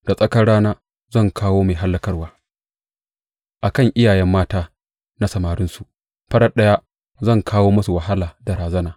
Da tsakar rana zan kawo mai hallakarwa a kan iyaye mata na samarinsu; farat ɗaya zan kawo musu wahala da razana.